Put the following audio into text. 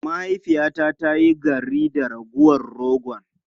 Mahaifiyata ta yi garri da ragowar rogon.